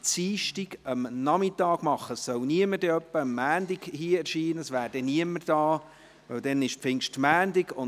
es wird nämlich niemand hier sein, weil es der Pfingstmontag ist.